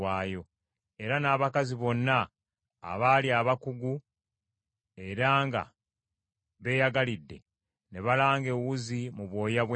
Era n’abakazi bonna abaali abakugu era nga beeyagalidde, ne balanga ewuzi mu bwoya bw’embuzi.